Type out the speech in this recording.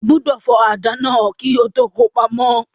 O gbọdọ̀ fọ àdá náà kí o tó ko pamọ́.